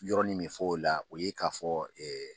Yɔrɔ ni min fɔ o la o ye k'a fɔ